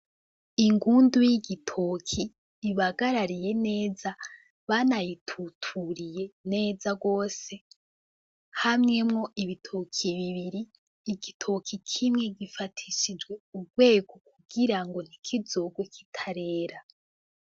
Ingundu y'igitoki ibagarariye neza banayituturiye neza gose hamyemwo ibitoki bibiri, igitoki kimwe gifatishijwe urwego kugira ngo ntikizogwe kitarera.